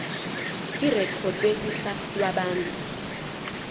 irekhodwe kuhla lwabantu